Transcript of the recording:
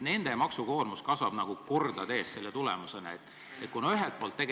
Nende maksukoormus kasvab selle tulemusena kordades.